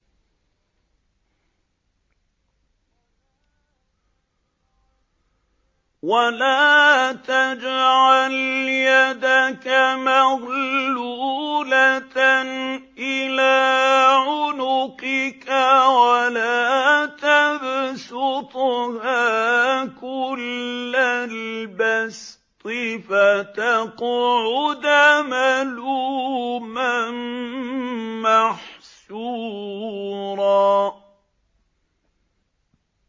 وَلَا تَجْعَلْ يَدَكَ مَغْلُولَةً إِلَىٰ عُنُقِكَ وَلَا تَبْسُطْهَا كُلَّ الْبَسْطِ فَتَقْعُدَ مَلُومًا مَّحْسُورًا